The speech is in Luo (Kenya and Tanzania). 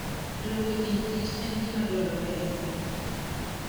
Riwruok e kind kich en gima dwarore ahinya e pur.